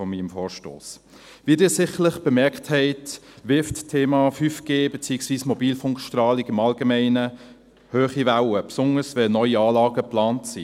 Wie Sie sicherlich bemerkt haben, wirft das Thema 5G beziehungsweise Mobilfunkstrahlung im Allgemeinen hohe Wellen, besonders, wenn neue Anlagen geplant werden.